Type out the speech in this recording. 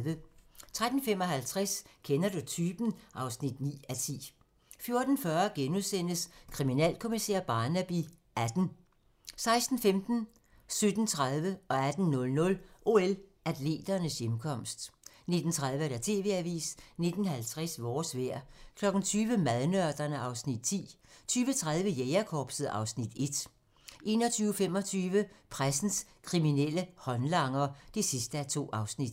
13:55: Kender du typen? (9:10) 14:40: Kriminalkommissær Barnaby XVIII * 16:15: OL-atleternes hjemkomst 17:30: OL-atleternes hjemkomst 18:00: OL-atleternes hjemkomst 19:30: TV-avisen 19:50: Vores vejr 20:00: Madnørderne (Afs. 9) 20:30: Jægerkorpset (Afs. 1) 21:25: Pressens kriminelle håndlanger (2:2)